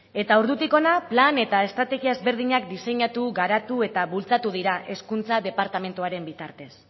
eta ordutik hona plan eta estrategia ezberdinak diseinatu garatu eta bultzatu dira hezkuntza departamentuaren bitartez